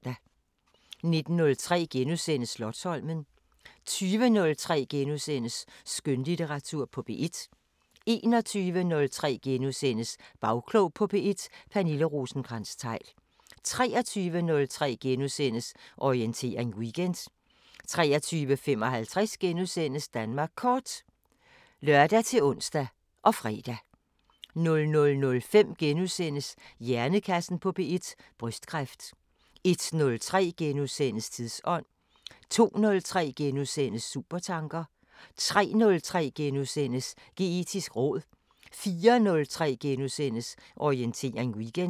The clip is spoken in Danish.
19:03: Slotsholmen * 20:03: Skønlitteratur på P1 * 21:03: Bagklog på P1: Pernille Rosenkrantz-Theil * 23:03: Orientering Weekend * 23:55: Danmark Kort *(lør-ons og fre) 00:05: Hjernekassen på P1: Brystkræft * 01:03: Tidsånd * 02:03: Supertanker * 03:03: Geetisk råd * 04:03: Orientering Weekend *